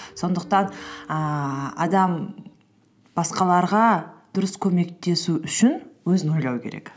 сондықтан ііі адам басқаларға дұрыс көмектесу үшін өзін ойлау керек